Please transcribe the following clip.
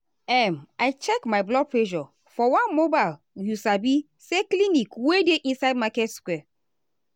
um i check my blood pressure for one mobile you sabi say clinic wey dey inside market square.